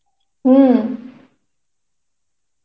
হম